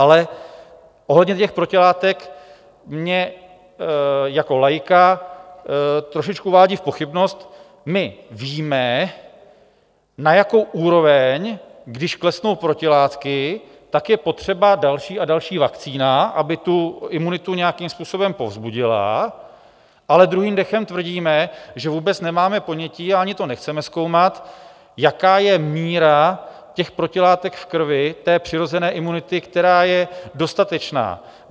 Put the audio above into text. Ale ohledně těch protilátek, mě jako laika trošičku uvádí v pochybnost, my víme, na jakou úroveň když klesnou protilátky, tak je potřeba další a další vakcína, aby tu imunitu nějakým způsobem povzbudila, ale druhým dechem tvrdíme, že vůbec nemáme ponětí a ani to nechceme zkoumat, jaká je míra těch protilátek v krvi té přirozené imunity, která je dostatečná.